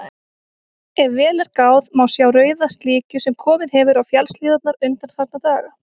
Ef vel er gáð, má sjá rauða slikju sem komið hefur á fjallshlíðarnar undanfarna daga.